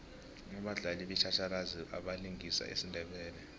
abadlali batjhatjhalazi abalingisa isindebele